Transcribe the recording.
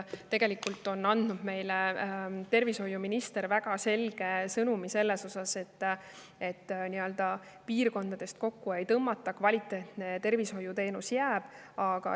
Tegelikult on minister andnud väga selge sõnumi, et piirkondades kokku ei tõmmata, kvaliteetne tervishoiuteenus jääb.